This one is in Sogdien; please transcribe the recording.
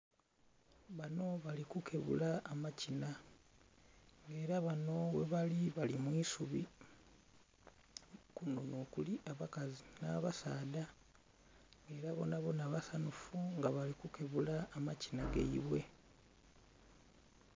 Bano bali kukebula amakina nga era bano ghebali bali mu isubi, kuno nhokuli abakazi n'abasaadha era bonabona basanhufu nga bali kukebula amakina gaibwe.